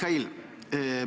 Hea Mihhail!